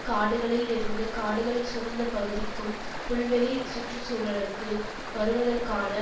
காடுகளில் இருந்து காடுகள் சூழ்ந்த பகுதிக்கும் புல்வெளி சுற்று சூழலுக்கு வருவதற்கான